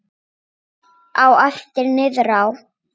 Á eftir niðrá